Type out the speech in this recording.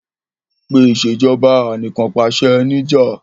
Pe Ìṣèjọba Anìkànpàṣẹ ní'jà!